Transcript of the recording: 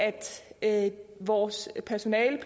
at vores personale